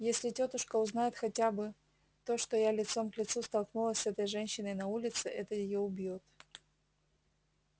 если тётушка узнает хотя бы то что я лицом к лицу столкнулась с этой женщиной на улице это её убьёт